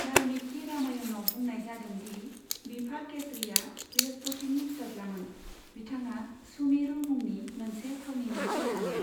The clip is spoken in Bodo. बाल्मिकि रामायनाव बुंनाय जादों दि बिफा केसरीआ बृहस्पतिनि फिसाज्लामोन, बिथाङा सुमेरु मुंनि मोनसे थावनिनि राजामोन।